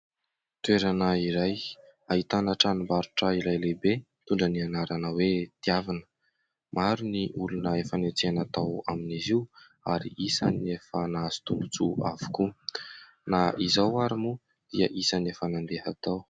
Toerana iray : ahitana tranombarotra iray lehibe, mitondra ny anarana hoe"Tiavina". Maro ny olona efa niantsena tao amin'izy io, ary isan'ny efa nahazo tombontsoa avokoa. Na izaho àry moa dia isan'ny efa nandeha tao.